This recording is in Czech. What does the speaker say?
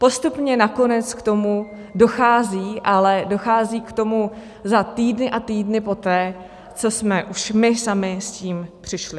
Postupně nakonec k tomu dochází, ale dochází k tomu za týdny a týdny poté, co jsme už my sami s tím přišli.